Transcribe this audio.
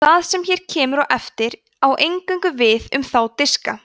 það sem hér kemur á eftir á eingöngu við um þá diska